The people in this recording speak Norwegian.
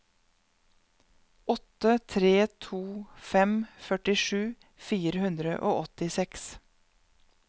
åtte tre to fem førtisju fire hundre og åttiseks